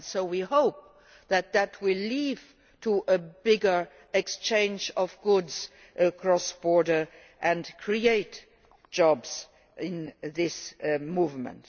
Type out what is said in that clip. We hope that this will lead to a bigger exchange of goods across borders and create jobs in this movement.